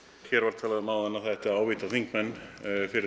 hér var talað um áðan að það ætti að ávíta þingmenn fyrir